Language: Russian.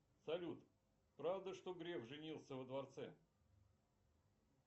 салют правда что греф женился во дворце